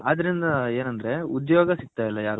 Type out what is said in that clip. ಅದರಿಂದ ಏನಂದ್ರೆ ಉದ್ಯೋಗ